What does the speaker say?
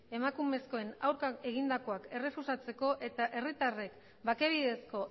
emakumezkoen aurka egindakoak errefusatzeko eta herritarrek bake bidezko